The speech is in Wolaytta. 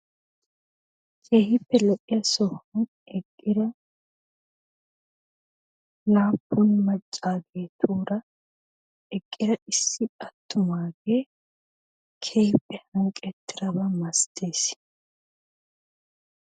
Keehippe lo'iya sohuwan eqqida laappun maccaageetuura eqqida issi attumaagee keehippe hanqqettidaba masates